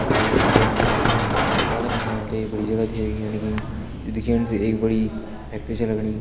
Tie टुकड़ी पैनी पैथर फणि हम ते एक बड़ी जगह छ दिखेण लगीं जु दिखेण से एक बड़ी फैक्ट्री छा लगणी।